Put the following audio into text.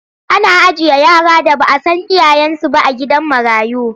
Ana ajiye yara da ba a san iyayensu ba a gidan marayu.